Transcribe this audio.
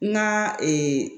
N ka